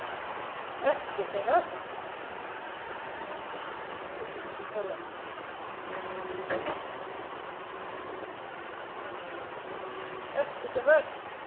Ekki sem verst.